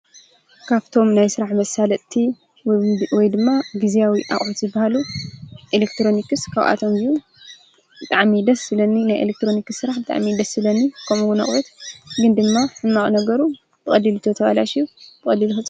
ካብቶም ናይ ሥራሕ መሣለጥቲ ወይ ድማ ጊዜኣዊ ኣቝት በሃሉ ኤለክትሮኒክስ ካውኣቶም ዩ ጠዓሚደስ ስለኒ ናይ ኤሌክጥሮኒክስ ሥራሕ ብጥዕሚደስ ሥለኒ ከምውን ኣቕበት ግን ድማ ሕማቕ ነገሩ በቐዲል እቶ ተዋላ ሽው በቐዲል ሁሩ።